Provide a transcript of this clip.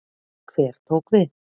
Hver tók við?